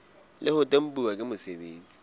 le ho tempuwa ke mosebeletsi